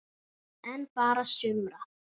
En bara sumra.